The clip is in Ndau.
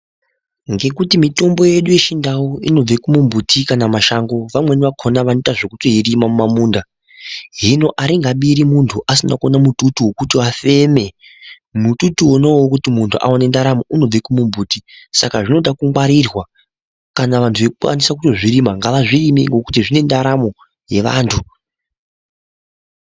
Ngekuti mitombo yedu yechindau inobve kune mbuti kana mashango vamweni vakona vanoita zvekuirima mumamunda hino aringabiri munthu asina kuona mututu wekuti afeme mututu unou wekuti munthu aone ndaramo unobve kune mbuti saka zvinoda kungwarirwa kana vanhu veikwanisa kuzvirima ngavazvirime ngekuti zvine ndaramo yevanthu.